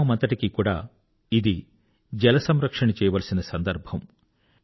గ్రామమంతటికీ కూడా ఇది జలసంరక్షణ చేయవలసిన సందర్భము